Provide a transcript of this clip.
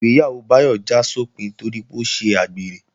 Ìgbéyàwó Báyọ̀ já sópin torí pé ó ṣe àgbèrè